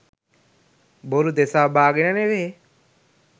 බොරු දෙසාබාගෙන නෙවේ